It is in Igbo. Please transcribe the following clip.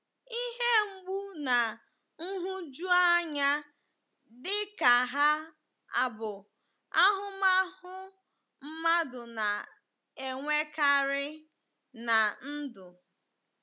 Ihe mgbu na nhụjuanya dịka ha abụ ahụmahụ mmadụ na-enwekarị ná ndụ.